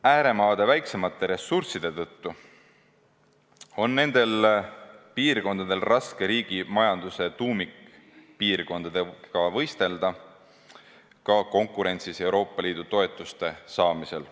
Ääremaade väiksemate ressursside tõttu on nendel piirkondadel raske riigi majanduse tuumikpiirkondadega võistelda ka konkurentsis Euroopa Liidu toetuste saamisel.